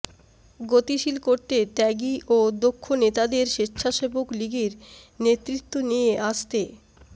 গতিশীল করতে ত্যাগী ও দক্ষ নেতাদের স্বেচ্ছাসেবক লীগের নেতৃত্বে নিয়ে আসতে